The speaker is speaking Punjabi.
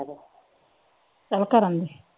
ਚੱਲ ਕਰਨ ਦੇ।